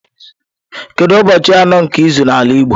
Kedu ụbọchị anọ nke izu n'ala igbo?